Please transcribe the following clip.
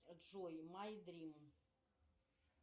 джой май дрим